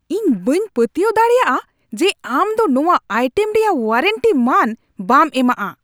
ᱤᱧ ᱵᱟᱹᱧ ᱯᱟᱹᱛᱭᱟᱹᱣ ᱫᱟᱲᱮᱭᱟᱜᱼᱟ ᱡᱮ ᱟᱢᱫᱚ ᱱᱚᱣᱟ ᱟᱭᱴᱮᱢ ᱨᱮᱭᱟᱜ ᱳᱣᱟᱨᱮᱱᱴᱤ ᱢᱟᱹᱱ ᱵᱟᱢ ᱮᱢᱟᱜᱼᱟ ᱾